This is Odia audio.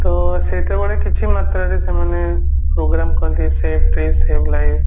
ତ ସେତେବେଳେ କିଛି ମାତ୍ରାରେ ସେମାନେ program କରନ୍ତି save tree save life